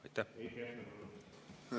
Heiki Hepner.